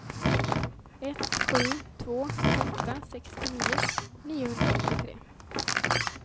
ett sju två åtta sextionio niohundraåttiotre